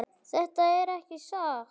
Þetta er ekki satt!